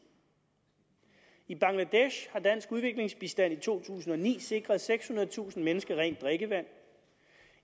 i bangladesh har dansk udviklingsbistand i to tusind og ni sikret sekshundredetusind mennesker rent drikkevand